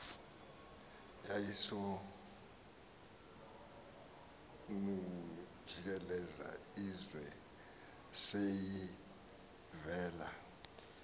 yayisenokujikelza ize seyivela